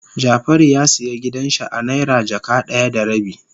Jafaru ya siya gidan shi a naira jaka daya da rabi.